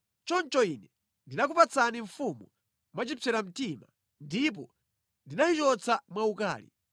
Choncho Ine ndinakupatsani mfumu mwachipseramtima, ndipo ndinayichotsa mwaukali.